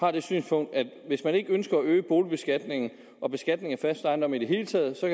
har det synspunkt at hvis man ikke ønsker at øge boligbeskatningen og beskatningen af fast ejendom i det hele taget så